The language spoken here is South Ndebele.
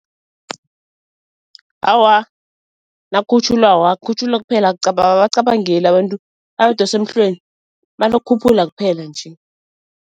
Awa, nakhutjhulwako kuphela ababacabangeli abantu abadosi emhlweni banokukhuphula kuphela nje.